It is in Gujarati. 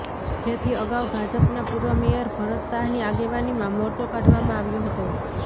જેથી અગાઉ ભાજપના પૂર્વ મેયર ભરત શાહની આગેવાનીમાં મોરચો કાઢવામાં આવ્યો હતો